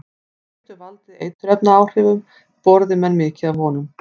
Hann getur valdið eitrunaráhrifum borði menn mikið af honum.